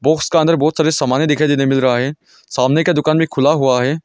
उसका अंदर बहुत सारे समाने दिखाई देने मिल रहा है सामने का दुकान भी खुला हुआ है।